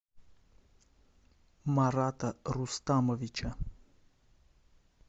марата рустамовича